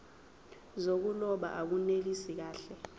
zokuloba akunelisi kahle